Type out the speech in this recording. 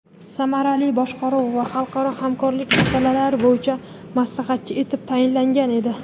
samarali boshqaruv va xalqaro hamkorlik masalalari bo‘yicha maslahatchisi etib tayinlangan edi.